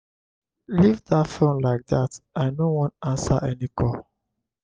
leave dat phone like dat i no wan answer any call.